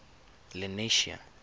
lenasia